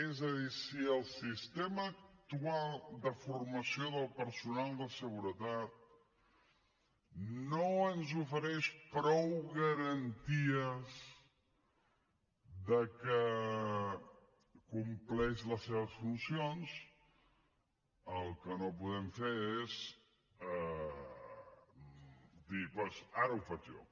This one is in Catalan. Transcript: és a dir si el sistema actual de formació del personal de seguretat no ens ofereix prou garanties que compleix les seves funcions el que no podem fer és dir doncs ara ho faig jo